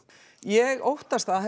ég óttast að